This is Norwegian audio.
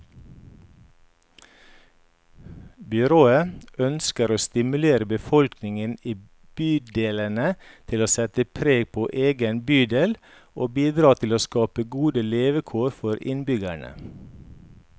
Byrådet ønsker å stimulere befolkningen i bydelene til å sette preg på egen bydel, og bidra til å skape gode levekår for innbyggerne.